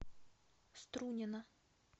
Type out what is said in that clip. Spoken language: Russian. струнино